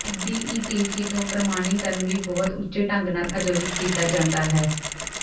DETC ਤੋਂ ਪ੍ਰਮਾਣੀਕਰਣ ਵੀ ਬਹੁਤ ਉੱਚੇ ਢੰਗ ਨਾਲ ਆਯੋਜਿਤ ਕੀਤਾ ਜਾਂਦਾ ਹੈ